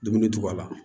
Dumuni tobi a la